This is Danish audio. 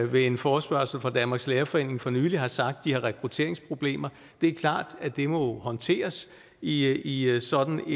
ved en forespørgsel fra danmarks lærerforening for nylig har sagt at de har rekrutteringsproblemer det er klart at det må håndteres i i sådan